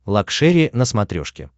лакшери на смотрешке